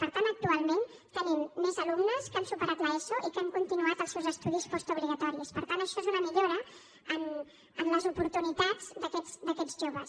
per tant actualment tenim més alumnes que han superat l’eso i que han continuat els seus estudis postobligatoris per tant això és una millora en les oportunitats d’aquest joves